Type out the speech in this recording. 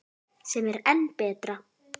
Sem er enn betra.